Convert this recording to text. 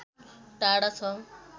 टाढा छ